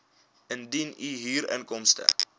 indien u huurinkomste